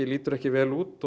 lítur ekki vel út